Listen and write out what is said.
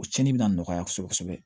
O cɛnin bɛ na nɔgɔya kosɛbɛ kosɛbɛ